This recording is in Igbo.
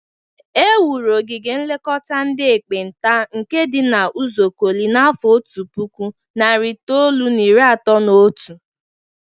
E nwuru ogige nlekọta ndị ekpenta nke dị n'Uzuakọlị na afọ otu puku, nari itoolu na iri atọ na otu.